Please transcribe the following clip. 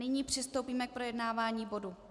Nyní přistoupíme k projednávání bodu